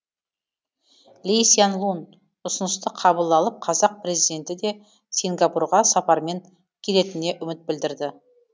ли сян лун ұсынысты қабыл алып қазақ президенті де сингапурға сапармен келетініне үміт білдірді